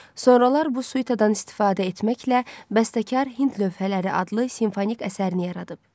Sonralar bu suitadan istifadə etməklə bəstəkar Hind lövhələri adlı simfonik əsərini yaradıb.